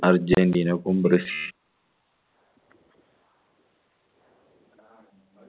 അർജന്റീനയ്ക്കും ബ്രസീ